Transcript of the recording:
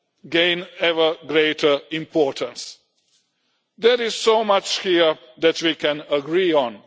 gain ever greater importance. There is so much here that we can agree on.